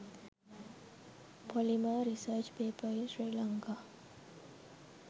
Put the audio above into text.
polymer research paper in sri lanka